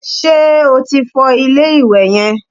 Ṣé o ti fọ ilé-ìwẹ̀ yẹn?